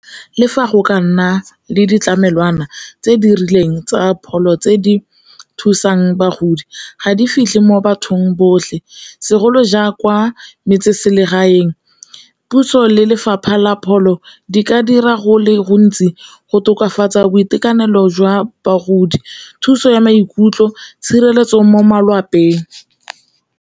Le fa go ka nna le ditlamelwana tse di rileng tsa pholo tse di thusang bagodi ga di fitlhe mo bathong botlhe, segolo jang kwa metseselegaeng puso le lefapha la pholo di ka dira go le gontsi go tokafatsa boitekanelo jwa bagodi, thuso ya maikutlo, tshireletso mo malapeng.